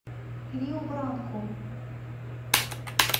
риу бранку